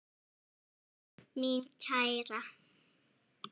Mín kæra.